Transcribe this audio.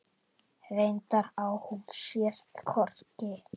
Reyndar á hún sér hvorki